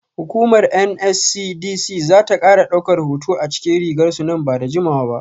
Hukumar NSCDC za ta kara daukar hoto a cikin rigar su nan ba da jimawa ba.